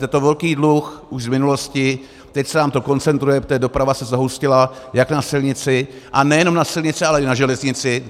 Je to velký dluh už v minulosti, teď se nám to koncentruje, protože doprava se zahustila jak na silnici, a nejenom na silnici, ale i na železnici.